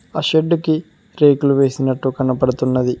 ఆ షెడ్ కి రేకులు వేసినట్టు కనపడుతున్నది.